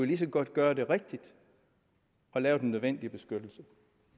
lige så godt gøre det rigtigt og lave den nødvendige beskyttelse